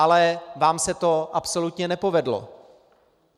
Ale vám se to absolutně nepovedlo.